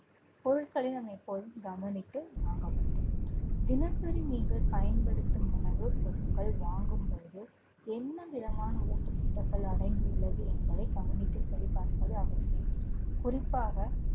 பொருட்களை நாம் எப்போதும் கவனித்து வாங்க வேண்டும். தினசரி நீங்கள் பயன்படுத்தும் உணவுப் பொருட்கள் வாங்கும் பொழுது என்ன விதமான ஊட்டச்சத்துக்கள் அடங்கியுள்ளது என்பதை கவனித்து சரி பார்ப்பது அவசியம் குறிப்பாக